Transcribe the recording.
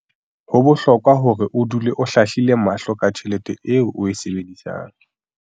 Ho bohlokwa hore o dule o hlahlile mahlo ka tjhelete eo o e sebedisang.